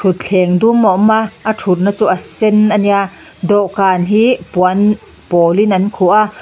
thutthleng dum a awm a a thutna chu a sen a nia dawhkan hi puan pawl in an khuh a.